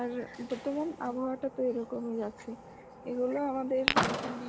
আর বর্তমান আবহওয়াটা তো এই রকম ই যাচ্ছে, এইগুলো আমাদের মানে,